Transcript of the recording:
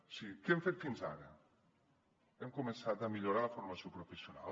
o sigui què hem fet fins ara hem començat a millorar la formació professional